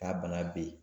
Ka bana be yen